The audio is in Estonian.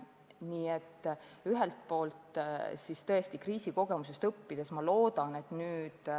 Nii et kriisi kogemustest on, ma loodan, õpitud.